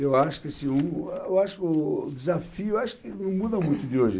Eu acho que assim o eu acho que o o desafio eu acho que não muda muito de hoje.